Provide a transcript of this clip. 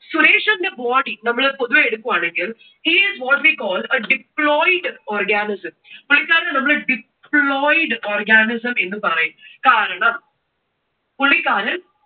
സുരേഷിന്റെ body നമ്മൾ പൊതുവെ എടുക്കുവാണെങ്കിൽ he is what we called a diploid organism. പുള്ളിക്കാരനെ നമ്മൾ diploid organism എന്ന് പറയും. കാരണം പുള്ളിക്കാരൻ